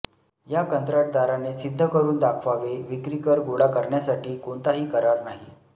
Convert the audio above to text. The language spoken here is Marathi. या कंत्राटदाराने सिद्ध करून दाखवावे विक्री कर गोळा करण्यासाठी कोणताही करार नाही